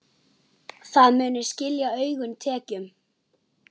Það muni skila auknum tekjum.